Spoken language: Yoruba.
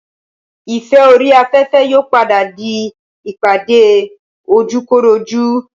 ìfẹ́ orí afẹ́fẹ́ yóò padà di ìpàdé ojúkorojú